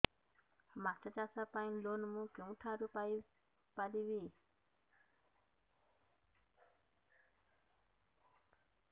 ମାଛ ଚାଷ ପାଇଁ ଲୋନ୍ ମୁଁ କେଉଁଠାରୁ ପାଇପାରିବି